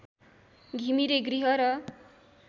घिमिरे गृह र